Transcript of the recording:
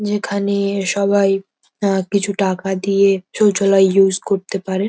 যেখানে সবাই আহ কিছু টাকা দিয়ে শৌচালায় ইউজ করতে পারে।